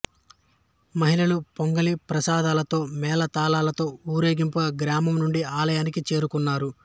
మహిళలు పొంగలి ప్రసాదాలతో మేళతాళాలతో ఊరేగింపుగా గ్రామం నుండి ఆలయానికి చేరుకున్నారు